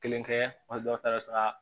Kelen kɛ wali dɔw taara